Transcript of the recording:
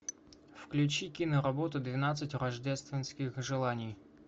включи киноработу двенадцать рождественских желаний